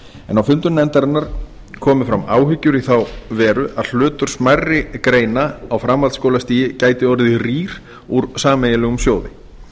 en á fundum nefndarinnar komu fram áhyggjur í þá veru að hlutur smærri greina á framhaldsskólastigi gæti orðið rýr úr sameiginlegum sjóði